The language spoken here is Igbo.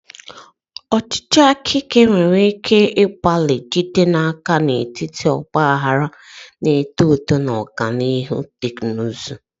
Ọchịchị aka ike nwere ike ịgbalị ijide n'aka n'etiti ọgba aghara na-eto eto na ọganihu teknụzụ.